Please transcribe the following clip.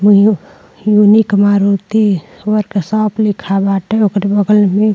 new unique Maruti workshop लिखा बाटे ओकरे बगल में --